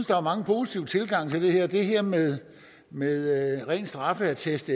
der er mange positive tilgange til det her det her med med en ren straffeattest